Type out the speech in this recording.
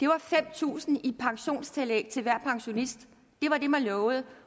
var fem tusind kroner i pensionstillæg til hver pensionist det var det man lovede